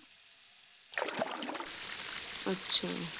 ਅੱਛਿਆ